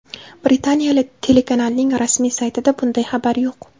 Britaniya telekanalining rasmiy saytida bunday xabar yo‘q.